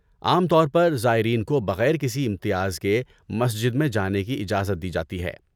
عام طور پر زائرین کو بغیر کسی امتیاز کے مسجد میں جانے کی اجازت دی جاتی ہے۔